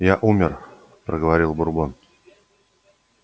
я умер проговорил бурбон